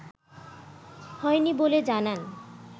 হয় নি বলে জানান